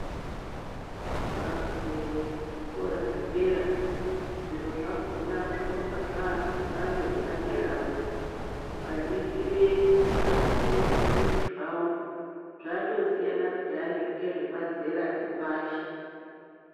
Ukagumeyo kuzvikora zvedera, zviro zvakona zvinonga zvaa zvemhando yepaderawo. Ukaningire ukapinde muzvimbuzi zvawo, zvatosiyana pheyani ngezvemazera epashi.